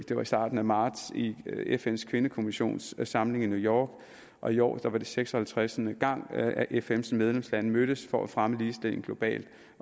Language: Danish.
det var i starten af marts i fns kvindekommissions samling i new york og i år var det seks og halvtreds gang at fns medlemslande mødtes for at fremme ligestillingen globalt